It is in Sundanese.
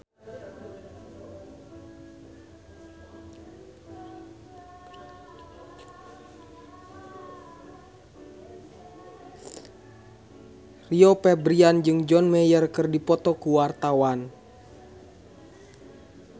Rio Febrian jeung John Mayer keur dipoto ku wartawan